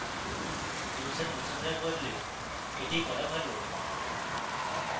user মুছে ফেলার বদলে এটি করা ভালো